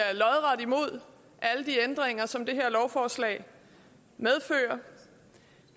er lodret imod alle de ændringer som det her lovforslag medfører